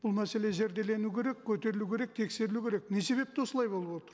бұл мәселе зерделену керек көтерілу керек тексерілу керек не себепті осылай болып отыр